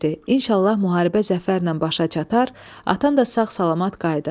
İnşallah müharibə zəfərlə başa çatar, atan da sağ-salamat qayıdar.